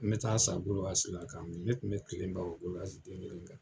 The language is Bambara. N be taa san golowasi la ka min. Ne kun be kile ban o golowasi den kelen kan.